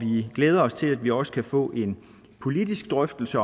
vi glæder os til at vi også kan få en politisk drøftelse